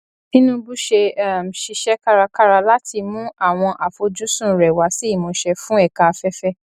tinubu ṣe um ṣiṣẹ kárakára láti mú àwọn àfojúsùn rẹ wá sí ìmúṣẹ fún ẹka afẹfẹ